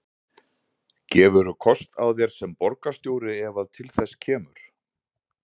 Gefurðu kost á þér sem borgarstjóri ef að til þess kemur?